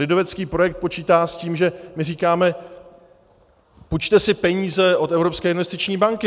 Lidovecký projekt počítá s tím, že my říkáme: půjčte si peníze od Evropské investiční banky.